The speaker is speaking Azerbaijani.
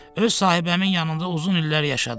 Öz sahibəmin yanında uzun illər yaşadım.